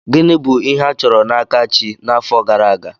Gịnị bụ ihe a chọrọ n'aka chi n'afọ gara aga?